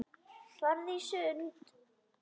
Farðu í sund.